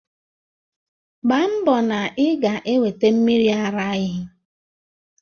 Mgbá mbọ na ị ga-eweta mmiri ara ehi!